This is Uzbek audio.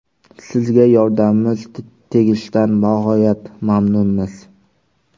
Sizga yordamimiz tegishidan bag‘oyat mamnunmiz.